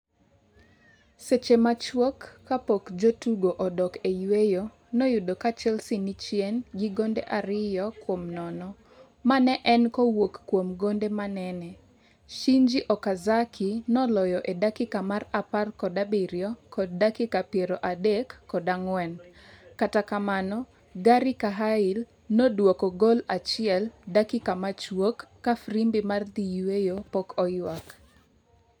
seche machuok kapok jotugo odok e yweyo, noyudo ka Chelsea ni chien gi gonde ariyo kuom nono. Ma ne en kowuok kuom gonde manene Shinji Okazaki noloyo e dakika mar apar kod abirio kod dakika piero adek kod ang'wen, kata kamano Gari Cahyl noduoko gol achiel dakika machuok ka frimbi mar dhi yweyo pok oywak